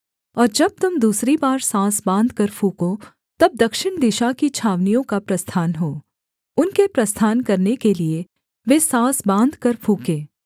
और जब तुम दूसरी बार साँस बाँधकर फूँको तब दक्षिण दिशा की छावनियों का प्रस्थान हो उनके प्रस्थान करने के लिये वे साँस बाँधकर फूँकें